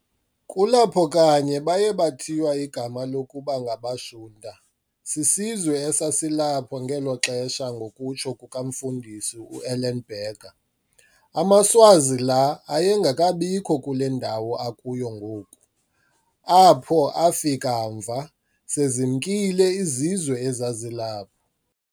Kulapho kanye baye bathiwa igama lokuba ngabaShunta, sisizwe esasilapho ngelo xesha-ngokutsho komfundisi uEllenberger. AmaSwazi laa ayengekabikho kule ndawo akuyo ngoku, apho afike mva, sezimkile izizwe ezazilapho.